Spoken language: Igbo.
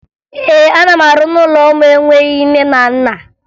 Ee, ana m arụ n'ụlọ ụmụ enweghi nne na nna